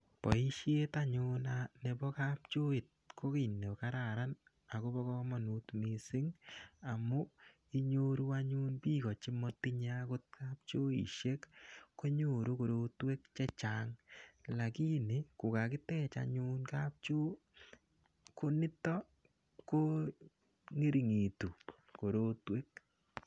Boishet anyun nebo kapchoit ko kiy nekararan akobo komonut mising amu inyoru anyun biko chematinyei akot kapchoishek konyoru korotwek chechang lakini kokakitech anyun kapchoo ko nito ko ngeringitu korotwek.